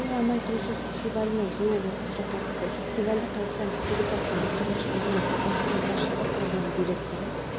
тәулікте атмосфералық фронттардың өтуімен байланысты ыстықтың төмендеуі күтіледі кей жерлерде өткінші жаңбыр найзағай жарқылдап дауылды